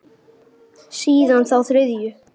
Síðan þá þriðju.